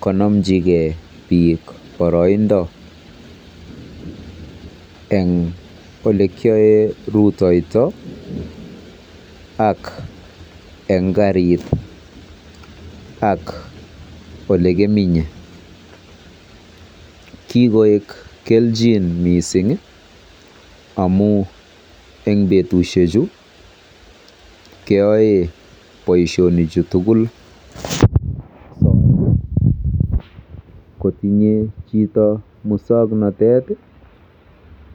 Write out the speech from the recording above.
konochingee bik boroindo en ole kion ruitoito ak en karit ak elekimenye. Kikoik keljin missingi amun en betushek chuu keyoe boishonik chutukul kotinye chito muswoknotet